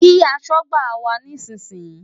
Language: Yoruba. Kí aṣọ́gbà wá nísìnyí!